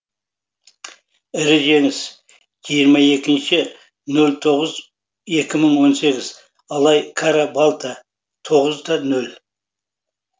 ірі жеңіс жиырма екінші нөл тоғыз екі мың он сегіз алай кара балта тоғыз да нөл